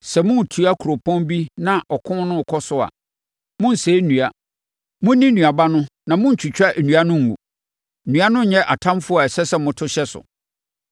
Sɛ moretua kuropɔn bi na ɔko no rekɔ so a, monnsɛe nnua. Monni nnuaba no na monntwitwa nnua no ngu. Nnua no nyɛ atamfoɔ a ɛsɛ sɛ moto hyɛ so!